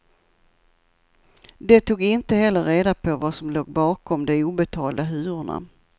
De tog inte heller reda på vad som låg bakom de obetalda hyrorna.